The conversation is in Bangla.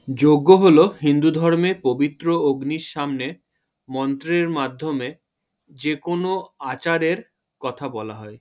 যজ্ঞ হলো হিন্ধু ধর্মের পবিত্র অগ্নির সামনে মন্ত্রের মাধ্যমে যে কোনো আচারের কথা বলা হয় ।